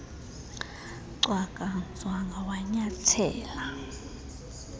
cwaka nzwanga wanyathela